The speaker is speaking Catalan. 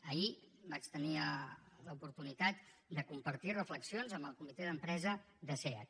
ahir vaig tenir l’oportunitat de compartir reflexions amb el comitè d’empresa de seat